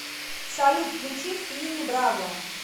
салют включи финни бравла